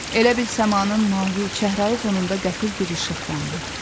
Elə bil səmanın mavi, çəhrayı fonunda qəfil bir işıq yandı.